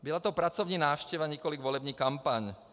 Byla to pracovní návštěva, nikoliv volební kampaň.